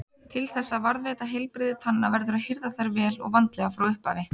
Til þess að varðveita heilbrigði tanna verður að hirða þær vel og vandlega frá upphafi.